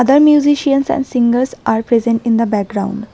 other musicians and singers are present in the background.